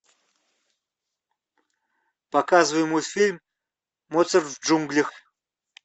показывай мультфильм моцарт в джунглях